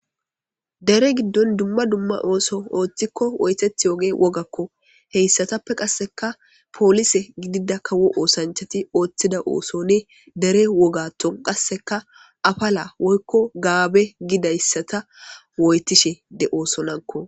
Dere giddon dumma dumma oso othikon woyitetiyogeyi woggako , heysatappe qaseka polise gidida kawo osanchati othida osono dere wogatho qaseka apala woyko gaabe gidaysata woytishe de'osonako.